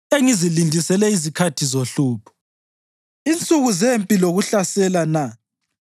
engizilindisele izikhathi zohlupho, insuku zempi lokuhlasela na?